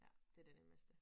Ja det det nemmeste